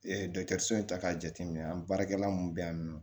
dɔkitɔriso in ta k'a jateminɛ an baarakɛla mun bɛ yan nɔ